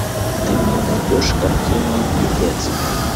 ты мне найдешь картину пипец